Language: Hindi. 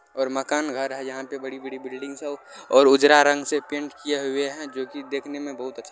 और मकान घर है यहाँ पर बड़ी-बड़ी बिल्डिंग्स है और उजरा रंग से पेंट किये हुए है जो की देखने में बहुत ही अच्छा --